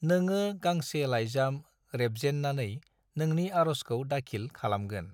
नोङो गांसे लायजाम रेबजेननानै नोंनि आर'जखौ दाखिल खालामगोन।